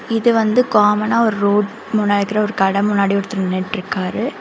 இது வந்து காமனா ஒரு ரோடு முன்னாடி உள்ள ஒரு கட முன்னாடி ஒருத்தர் நின்ட்ருக்காரு.